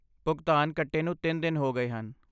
ਭੁਗਤਾਨ ਕੱਟੇ ਨੂੰ ਤਿੰਨ ਦਿਨ ਹੋ ਗਏ ਹਨ